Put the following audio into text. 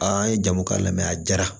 n ye jamu k'a la mɛ a jara